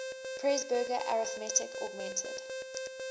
presburger arithmetic augmented